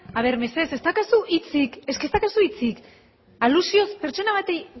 a ver mesedez ez daukazu hitzik es que ez daukazu hitzik alusioz pertsona bati